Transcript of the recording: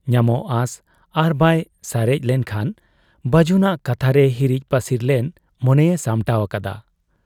ᱧᱟᱢᱚᱜ ᱟᱸᱥ ᱟᱨᱵᱟᱭ ᱥᱟᱨᱮᱡ ᱞᱮᱱᱠᱷᱟᱱ ᱵᱟᱹᱡᱩᱱᱟᱜ ᱠᱟᱛᱷᱟᱨᱮ ᱦᱤᱨᱤᱡ ᱯᱟᱹᱥᱤᱨ ᱞᱮᱱ ᱢᱚᱱᱮᱭᱮ ᱥᱟᱢᱴᱟᱣ ᱟᱠᱟᱫᱟ ᱾